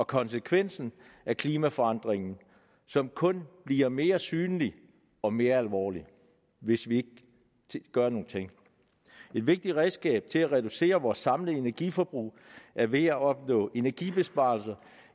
konsekvensen af klimaforandringen som kun bliver mere synlig og mere alvorlig hvis vi ikke gør nogen ting et vigtigt redskab til at reducere vores samlede energiforbrug er ved at opnå energibesparelser